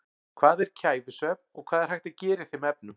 Hvað er kæfisvefn og hvað er hægt að gera í þeim efnum?